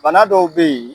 Bana dɔw be ye